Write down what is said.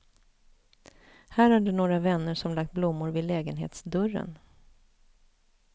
Här är det några vänner som lagt blommor vid lägenhetsdörren.